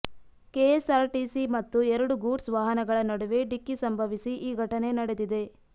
K S R TC ಮತ್ತು ಎರಡು goods ವಾಹನಗಳ ನಡುವೆ ಡಿಕ್ಕಿ ಸಂಭವಿಸಿ ಈ ಘಟನೆ ನಡೆದಿದೆ